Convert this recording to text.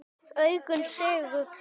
Augun segull.